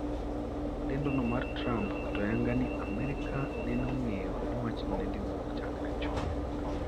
Lendono mar Trump oketo ayanga ni America neno ong'eyo ni wachno nedhiwuok chakre chon.